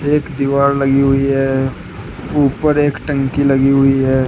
एक दीवाल लगी हुई है ऊपर एक टंकी लगी हुई है।